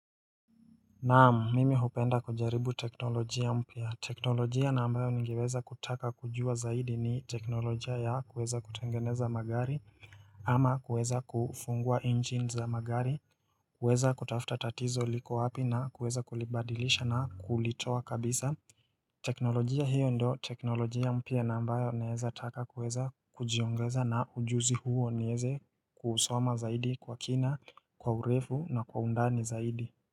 Naamu mimi hupenda kujaribu teknolojia mpia teknolojia na ambayo nigeweza kutaka kujua zaidi ni teknolojia ya kuweza kutengeneza magari ama kuweza kufungua engine za magari kuweza kutafuta tatizo liko wapi na kuweza kulibadilisha na kulitowa kabisa teknolojia hiyo ndio teknolojia mpia na ambayo naeza taka kuweza kujiongeza na ujuzi huo nieze kusoma zaidi kwa kina kwa urefu na kwa undani zaidi.